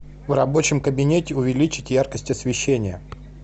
в рабочем кабинете увеличить яркость освещения